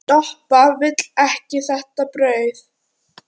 Doppa vill ekki þetta brauð.